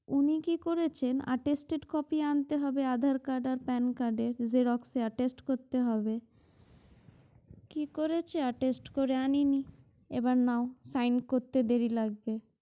উনি কি করেছেন attested copy আনতে হবে aadhar card আর pan card এর xerox attest করতে হবে কি করেছে attest করে আনেনি এবার নাও sing করতে দেরি লাগবে